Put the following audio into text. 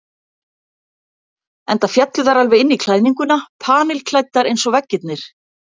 Enda féllu þær alveg inn í klæðninguna, panilklæddar eins og veggirnir.